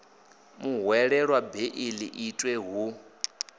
muhwelelwa beiḽi i itwe hu